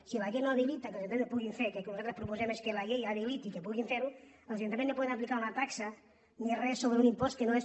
si la llei no habilita que els ajuntaments ho puguin fer que el que nosaltres proposem és que la llei habiliti que puguin fer ho els ajuntaments no poden aplicar una taxa ni res sobre un impost que no és